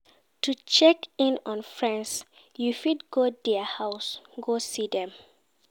To check in on Friends you fit go there house go see them